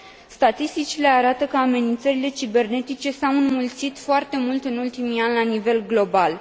Statisticile arată că amenințările cibernetice s au înmulțit foarte mult în ultimii ani, la nivel global.